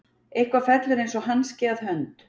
Eitthvað fellur eins og hanski að hönd